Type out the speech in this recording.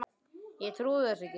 Ég trúði þessu ekki.